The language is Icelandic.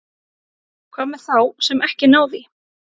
Hvað með þá sem ekki ná því?